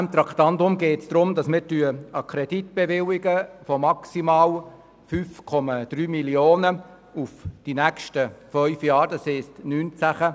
Bei diesem Traktandum geht es um die Bewilligung eines Kredits von jährlich maximal 5,3 Mio. Franken über die nächsten fünf Jahre von 2019 bis 2023.